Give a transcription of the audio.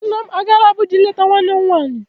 Nna m agaala Abụja ileta nwanne m nwanyi.